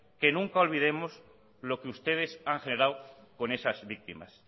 que nunca olvidemos lo que ustedes han generado con esas víctimas